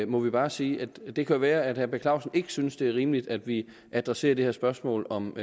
må vi bare sige det kan være at herre per clausen ikke synes det er rimeligt at vi adresserer det her spørgsmål om